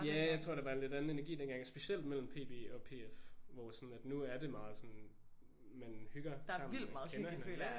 Ja jeg tror der var en lidt anden energi dengang og specielt mellem PB og PF hvor sådan at nu er det meget sådan at man hygger og kender hinanden ik?